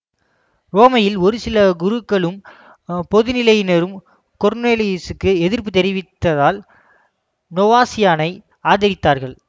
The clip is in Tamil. உரோமையில் ஒருசில குருக்களும் பொதுநிலையினரும் கொர்னேலுயுசுக்கு எதிர்ப்பு தெரிவித்ததால் நோவாசியானை ஆதரித்தார்கள்